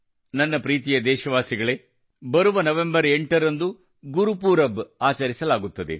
ನನ್ನ ಪ್ರೀತಿಯ ದೇಶವಾಸಿಗಳೇ ಬರುವ ನವೆಂಬರ್ 8 ರಂದು ಗುರುಪೂರಬ್ ಆಚರಿಸಲಾಗುತ್ತದೆ